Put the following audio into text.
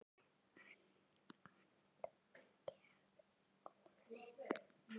önd gaf Óðinn